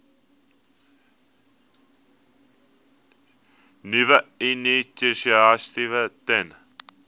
nuwe initiatiewe ten